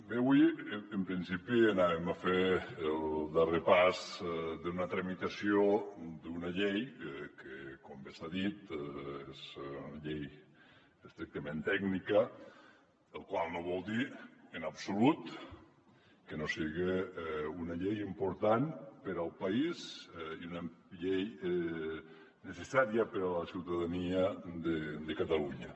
bé avui en principi farem el darrer pas d’una tramitació d’una llei que com bé s’ha dit és una llei estrictament tècnica la qual cosa no vol dir en absolut que no siga una llei important per al país i una llei necessària per a la ciutadania de catalunya